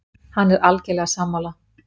Hann er algerlega sammála